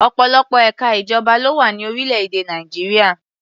Ọ̀pọ̀lọpọ̀ ẹ̀ka ìjọba ló wà ní orílẹ̀-èdè Nàìjíríà.